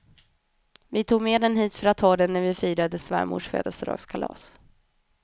Vi tog med den hit för att ha den när vi firade svärmors födelsedagskalas.